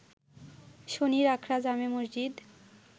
শনিরআখড়া জামে মসজিদ